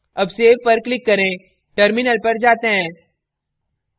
अब save पर click करें terminal पर जाते हैं